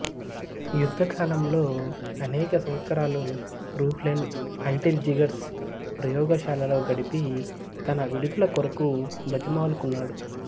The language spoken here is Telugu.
యుద్ధకాలంలో అనేక సంవత్సరాలు రూహ్లెన్ అంటిల్ జిగర్స్ ప్రయోగశాలలో గడిపి తన విడుదల కొరకు బతిమాలుకున్నాడు